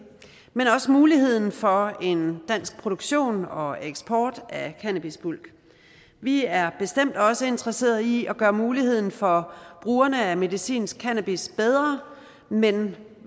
men også muligheden for en dansk produktion og eksport af cannabisbulk vi er bestemt også interesserede i at gøre muligheden for brugerne af medicinsk cannabis bedre men